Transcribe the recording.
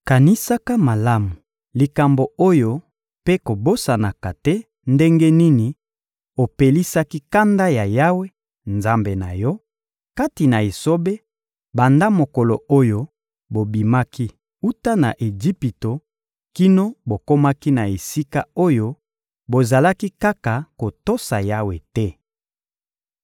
Kanisaka malamu likambo oyo mpe kobosanaka te ndenge nini opelisaki kanda ya Yawe, Nzambe na yo, kati na esobe: banda mokolo oyo bobimaki wuta na Ejipito kino bokomaki na esika oyo, bozalaki kaka kotosa Yawe te.